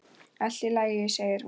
Allt í lagi, segir hún.